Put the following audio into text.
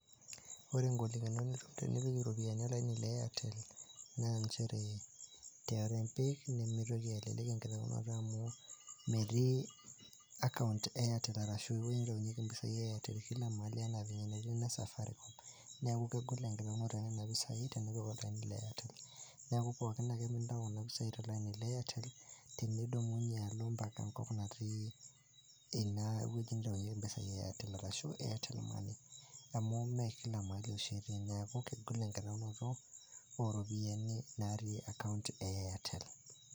Ore ingolikinot nitum tenipik iropian olaini le Airtel, naa nchere tenipik nimitoki alelek enkitaunot amu meti account e airtel ashu eweuji naitaunyieki iropiani e airtel kila mahali ena enati enesafaricom, niaku kegol enkitayunoto onena pisai tenipik olaini le airtel, niaku pooki ake pintayu nena pisai tolaini le airtel, tenidumunye alo mpaka enkop nati ine weuji nataunyieki mpisai e airtel ashu airtel money, amu me kila mahali oshi etii niaku kegol enkitayunoto oropiani natii account e airtel.